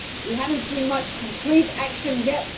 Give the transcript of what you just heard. We have not seen much concrete action yet.